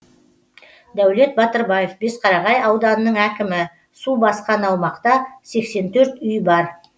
дәулет батырбаев бесқарағай ауданының әкімі су басқан аумақта сексен төрт үй бар